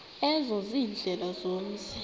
ezo ziindlela zomzi